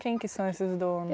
Quem que são esses